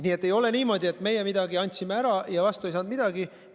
Nii et ei ole niimoodi, et me midagi andsime ära ja vastu ei saanud midagi.